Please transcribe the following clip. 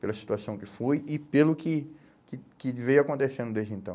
Pela situação que foi e pelo que que que veio acontecendo desde então.